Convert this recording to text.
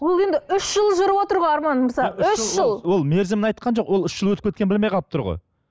ол енді үш жыл жүріп отыр ғой арман үш жыл ол мерзімін айтқан жоқ ол үш жыл өтіп кеткенін білмей қалып тұр ғой